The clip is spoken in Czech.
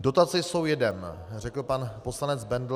Dotace jsou jedem, řekl pan poslanec Bendl.